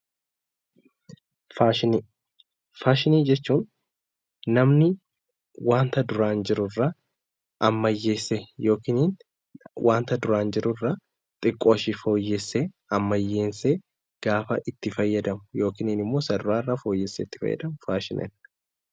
Faashinii Faashinii jechuun namni wanta duraan jirurra ammayyeessee (wanta duraan jirurra xiqqooshee fooyyessee) ,ammayyeessee gaafa itti fayyadamu yookiin immoo isa duraarra fooyyessee itti fayyadamu faashinii dha.